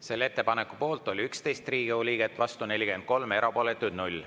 Selle ettepaneku poolt oli 11 Riigikogu liiget, vastu 43, erapooletuid 0.